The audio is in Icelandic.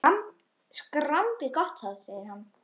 Skrambi gott það! segir hann.